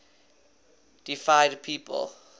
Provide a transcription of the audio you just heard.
deified people